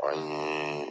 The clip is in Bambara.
A ye